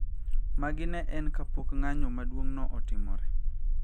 Magi ne en kapok ng`anyo maduong` no otimore